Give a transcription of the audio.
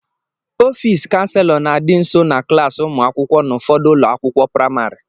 Ọfịs kanselọ na-adị nso na klaasị ụmụ akwụkwọ n'ụfọdụ ụlọ akwụkwọ praịmarị.